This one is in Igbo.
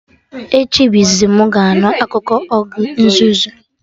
Echi bụ izizi mụ ga-anụ akụkọ ogre nzuzu